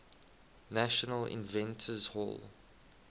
national inventors hall